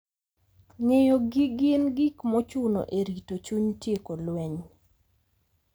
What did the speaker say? Ng'eyo gi gin gik mochuno e rito chuny, tieko lweny,